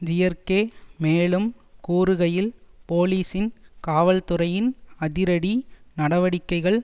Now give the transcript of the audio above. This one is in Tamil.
ஜியர்க்கே மேலும் கூறுகையில் போலீசின் காவல்துறையின் அதிரடி நடவடிக்கைகள்